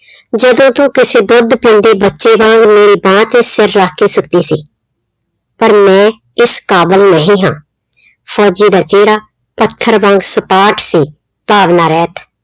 ਜਦੋਂ ਤੂੰ ਕਿਸੇ ਦੁੱਧ ਪੀਂਦੇ ਬੱਚੇ ਵਾਂਗ ਮੇਰੇ ਬਾਂਹ ਤੇ ਸਿਰ ਰੱਖ ਕੇ ਸੁੱਤੀ ਸੀ, ਪਰ ਮੈਂ ਇਸ ਕਾਬਲ ਨਹੀਂ ਹਾਂ, ਫ਼ੋਜ਼ੀ ਦਾ ਚਿਹਰਾ ਪੱਥਰ ਵਾਂਗ ਸਪਾਟ ਸੀ ਭਾਵਨਾ ਰਹਿਤ।